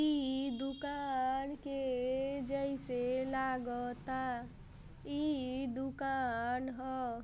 इ दुकान के जैसे लागता इ दुकान ह।